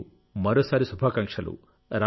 మీకు మరోసారి శుభాకాంక్షలు